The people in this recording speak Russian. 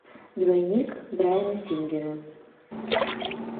двойник брайана сингера